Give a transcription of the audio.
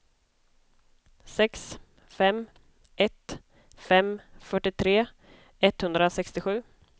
sex fem ett fem fyrtiotre etthundrasextiosju